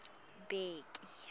bheki